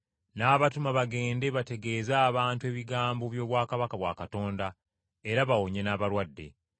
N’abawa obuyinza n’abatuma bagende bategeeze abantu ebigambo by’obwakabaka bwa Katonda era bawonye n’abalwadde.